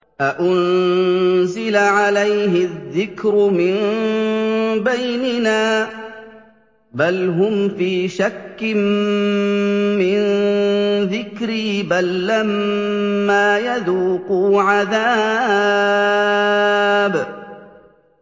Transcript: أَأُنزِلَ عَلَيْهِ الذِّكْرُ مِن بَيْنِنَا ۚ بَلْ هُمْ فِي شَكٍّ مِّن ذِكْرِي ۖ بَل لَّمَّا يَذُوقُوا عَذَابِ